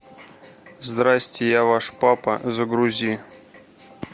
здрасьте я ваш папа загрузи